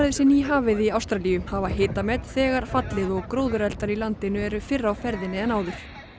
sé nýhafið í Ástralíu hafa hitamet þegar fallið og í landinu eru fyrr á ferðinni en áður